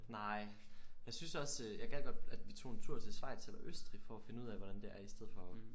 Nej. Jeg synes også øh jeg gad godt at vi tog en turtil Schweiz eller Østrig for at finde ud af hvordan det er i stedet for